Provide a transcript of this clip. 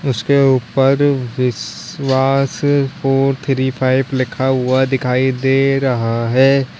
उसके ऊपर Vishwas four three five लिखा हुआ दिखाई दे रहा है।